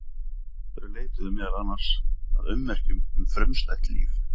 Þau leituðu meðal annars að ummerkjum um frumstætt líf.